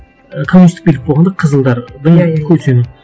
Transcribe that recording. ы коммунистік билік болғанда қызылдардың көсемі